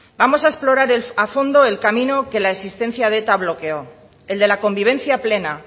vamos a explorar a fondo el camino que la existencia de eta bloqueo el de la convivencia plena